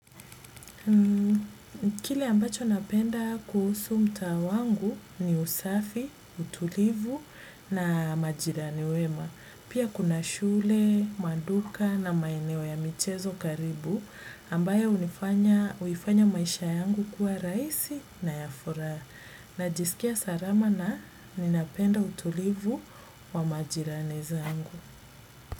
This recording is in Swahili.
Kile ambacho napenda kuhusu mtaa wangu ni usafi, utulivu na majirani wema. Pia kuna shule, maduka na maeneo ya michezo karibu ambaye huifanya maisha yangu kuwa rahisi na ya furaha. Najisikia salama na ninapenda utulivu wa majirani zangu.